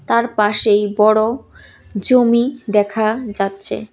তার পাশেই বড় জমি দেখা যাচ্ছে।